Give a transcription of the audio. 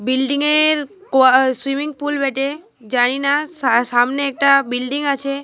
Building -এর কোয়া swimming pool বেটে। জানিনা সা সামনে একটা বিল্ডিং আছে।